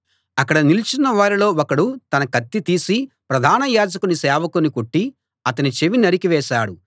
అక్కడ నిలుచున్న వారిలో ఒకడు తన కత్తి తీసి ప్రధాన యాజకుని సేవకుని కొట్టి అతని చెవి నరికి వేశాడు